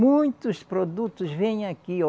Muitos produtos vêm aqui.